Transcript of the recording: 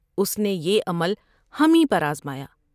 اس نے یہ عمل ہمیں پر آزمایا ۔